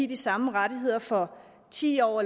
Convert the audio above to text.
de samme rettigheder for ti år